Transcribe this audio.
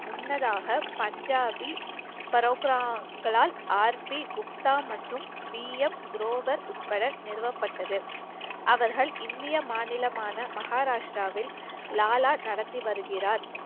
முன்னதாக பஞ்சபி பரோக்ராங்களால் குப்தா மற்றும் பிம் ப்ரவர் உட்பட நிறுவப்பட்டது அவர்கள் இந்திய மாநிலமான மகாராஷ்டிராவில் லாலா நடத்தி வருகிறார்